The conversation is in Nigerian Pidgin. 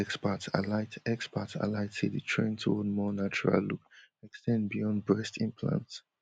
experts highlight experts highlight say di trend to more natural look ex ten d beyond breast implants